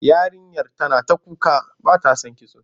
Yarinyar tana ta kuka ba ta son kitso.